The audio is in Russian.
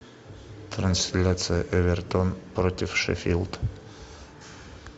трансляция эвертон против шеффилд